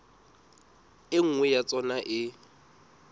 e nngwe ya tsona e